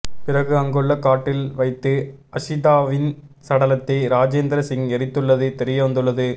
பிறகு அங்குள்ள காட்டில் வைத்து அக்ஷிதாவின் சடலத்தை ராஜேந்திர சிங் எரித்துள்ளது தெரியவந்துள்ளது